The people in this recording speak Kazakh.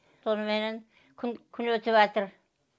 соныменен күн күн өтіватыр